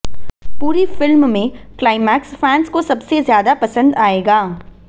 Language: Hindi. पूरी फिल्म में क्लाइमेक्स फैंस को सबसे ज्यादा पसंद आएगा